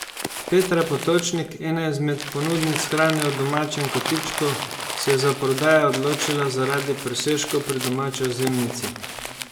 Petra Potočnik, ena izmed ponudnic hrane v Domačem kotičku, se je za prodajo odločila zaradi presežkov pri domači ozimnici.